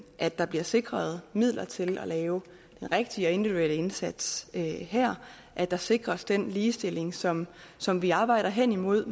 at der bliver sikret midler til at lave den rigtige individuelle indsats her at der sikres den ligestilling som som vi arbejder hen imod